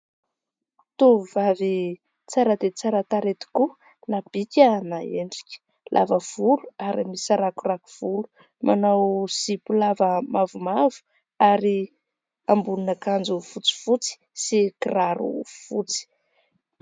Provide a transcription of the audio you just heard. Tovovavy tsara dia tsara tarehy tokoa na bika na endrika, lava volo ary misarakorako volo, manao zipo lava mavomavo ary ambonina akanjo fotsifotsy sy kiraro fotsy.